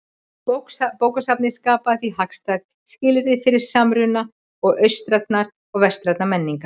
Bókasafnið skapaði því hagstæð skilyrði fyrir samruna austrænnar og vestrænnar menningar.